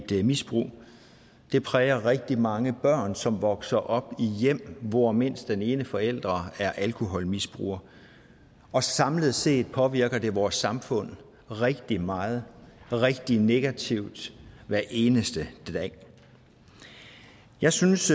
et misbrug og det præger rigtig mange børn som vokser op i hjem hvor mindst den ene forælder er alkoholmisbruger og samlet set påvirker det vores samfund rigtig meget og rigtig negativt hver eneste dag jeg synes